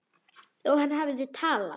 Og hann hafði talað.